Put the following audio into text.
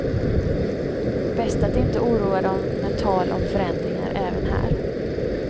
Bäst att inte oroa dem med tal om förändringar även här.